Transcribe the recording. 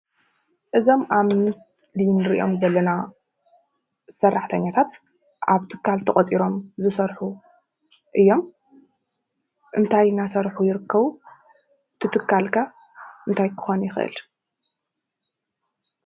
እዞም ኣብ ምስሊ እንርእዮም ዘለና ሰራሕተኛታት ኣብ ትካል ተቆፂሮም ዝሰርሑ እዮም። እንታይ እናሰርሑ ይርከቡ? እቱ ትካል ከ እንታይ ክከውን ይክእል?